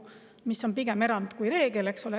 See on pigem erand kui reegel, eks ole.